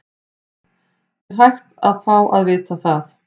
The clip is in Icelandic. Er hægt að fá að vita það?